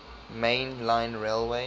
main line railway